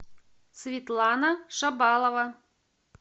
светлана шабалова